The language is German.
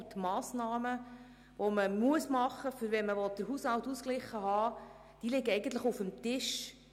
Und die Massnahmen, die zwingend umgesetzt werden müssen, um den Haushalt ausgeglichen halten zu können, liegen auf dem Tisch.